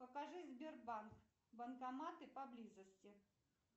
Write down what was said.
покажи сбербанк банкоматы поблизости